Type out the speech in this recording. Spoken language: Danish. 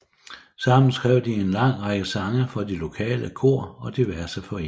Sammen skrev de en lang række sange for de lokale kor og diverse foreninger